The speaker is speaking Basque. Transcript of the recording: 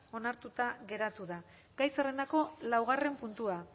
onartuta geratu da gai zerrendako laugarren puntua